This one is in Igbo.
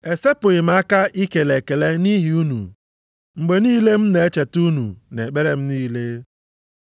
esepụghị m aka ikele ekele nʼihi unu, mgbe niile m na-echeta unu nʼekpere m niile.